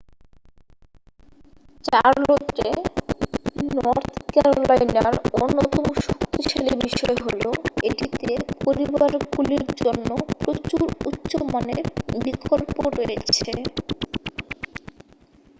চার্লোটে North ক্যারোলাইনার অন্যতম শক্তিশালী বিষয় হলো এটিতে পরিবারগুলির জন্য প্রচুর উচ্চ মানের বিকল্প রয়েছে